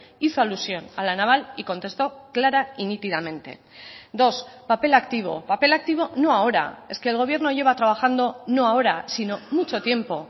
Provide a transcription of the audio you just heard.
hizo alusión a la naval y contestó clara y nítidamente dos papel activo papel activo no ahora es que el gobierno lleva trabajando no ahora sino mucho tiempo